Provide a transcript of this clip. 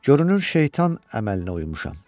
Görünür, şeytan əməlinə uymuşam.